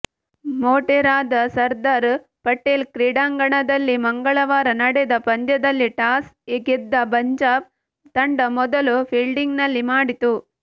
ಮೋಟೆರಾದ ಸರ್ದಾರ್ ಪಟೇಲ್ ಕ್ರೀಡಾಂಗಣದಲ್ಲಿ ಮಂಗಳವಾರ ನಡೆದ ಪಂದ್ಯದಲ್ಲಿ ಟಾಸ್ ಗೆದ್ದ ಪಂಜಾಬ್ ತಂಡ ಮೊದಲು ಫೀಲ್ಡಿಂಗ್ ಮಾಡಿತು